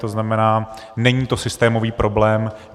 To znamená, není to systémový problém.